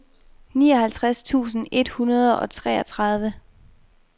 nioghalvtreds tusind et hundrede og treogtredive